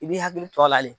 I b'i hakili to a la le